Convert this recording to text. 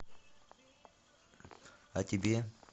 а тебе